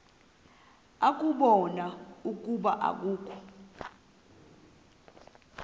ukubona ukuba akukho